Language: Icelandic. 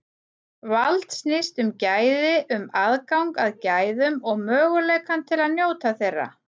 Vald snýst um gæði, um aðgang að gæðum og möguleikann til að njóta þeirra.